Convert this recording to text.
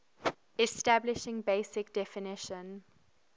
establishing basic definition